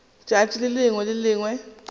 tšatši le lengwe le le